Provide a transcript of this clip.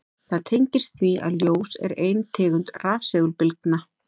Það tengist því að ljós er ein tegund rafsegulbylgna.